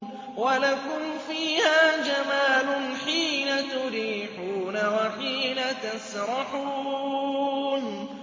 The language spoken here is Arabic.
وَلَكُمْ فِيهَا جَمَالٌ حِينَ تُرِيحُونَ وَحِينَ تَسْرَحُونَ